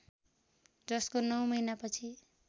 जसको नौ महिनापछि